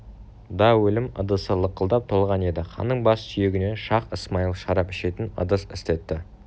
да өлім ыдысы лықылдап толған еді ханның бас сүйегінен шах-ысмайыл шарап ішетін ыдыс істетті